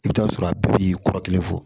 I bɛ t'a sɔrɔ a bɛɛ b'i kɔrɔ kelen fɔ